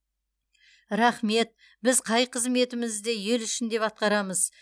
рахмет біз қай қызметімізді ел үшін деп атқарамыз